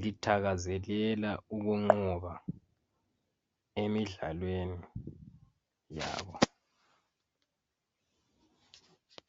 lithakazelela ukunqoba emidlalweni yabo